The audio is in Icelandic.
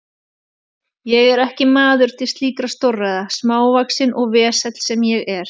Ég er ekki maður til slíkra stórræða, smávaxinn og vesall sem ég er.